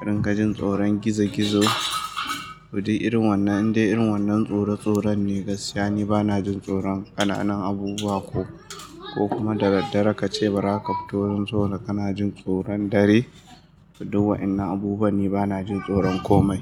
ƙarin gajin tsoron gizo-gizo. To duk irin wannan, indai irin wannan tsoro, tsoro ne gaskiya. Ni bana jin tsoron ƙananan abubuwa ko, ko kuma da daddare ka ce bara ka fito ba don kana jin tsoron dare? To duk wayannan abubuwan, ni bana jin tsoron komai.